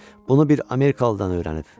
Bunu bir amerikalıdan öyrənib.